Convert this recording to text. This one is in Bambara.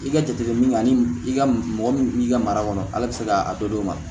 I ka jateminɛ ani i ka mɔgɔ min b'i ka mara kɔnɔ ala bɛ se k'a dɔ d'o ma